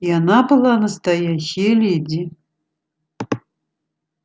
и она была настоящая леди